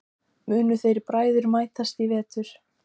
Munu þeir bræður mætast í vetur?